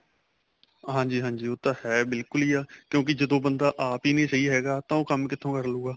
ਹਾਂਜੀ ਹਾਂਜੀ ਉਹ ਤਾਂ ਹੈ ਬਿਲਕੁਲ ਹੀ ਆ ਕਿਉਂਕਿ ਜਦੋਂ ਬੰਦਾ ਆਪ ਹੀ ਸਹੀਂ ਨਹੀਂ ਹੈਗਾ ਤਾਂ ਉਹ ਕੰਮ ਕਿੱਥੋ ਕਰੂਗਾ